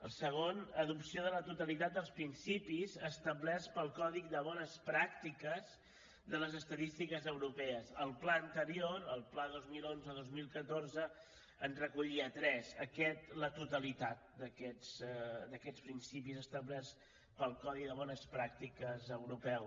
el segon adopció de la totalitat dels principis establerts pel codi de bones pràctiques de les estadístiques europees el pla anterior el pla dos mil onze dos mil catorze en recollia tres aquest la totalitat d’aquests principis establerts pel codi de bones pràctiques europeu